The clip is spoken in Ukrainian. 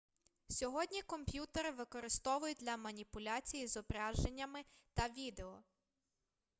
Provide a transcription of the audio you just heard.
сьогодні комп'ютери використовують для маніпуляцій із зображеннями та відео